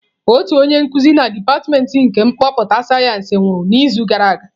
Otu onye nkuzi na dipatịmentị nke kọmputa sayensị nwụrụ n'izu gara aga.